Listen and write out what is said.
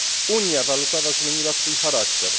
unia walutowa zmieniła swój charakter.